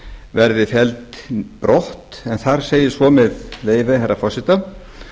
verði felld brott en þar segir svo með leyfi herra forseta